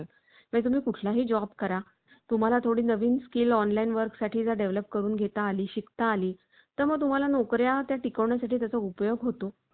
आणि प्रोत्साहन उपरास जीवन जगू शकतो म्हणजेच entertainment हा देखील जीव मानवाच्या जीवनातला खूपच महत्वाचा point आहे.